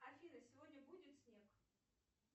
афина сегодня будет снег